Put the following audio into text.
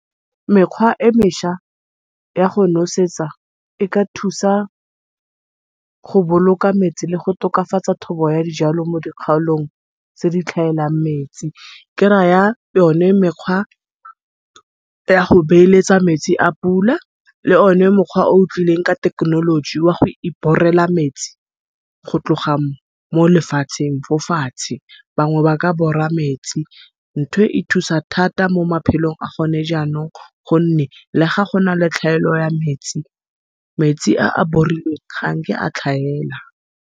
Mekgwa e mesha ya go nosetsa, e ka thusa go boloka metsi le go tokafatsa thobo ya dijalo mo dikgaolong tse di tlhaelang metsi. Ke raya yone mekgwa ya go beeletsa metsi a pula, le one mokgwa o o tlileng ka thekenoloji wa go ibhorela metsi, go tloga molefatsheng fo fatshe. Bangwe ba ka bhora metsi nthwe e thusa thata momaphelong a gone janong gonne le ga gona letlhaelo ya metsi metsi a bhorilweng ga nke a tlhaela.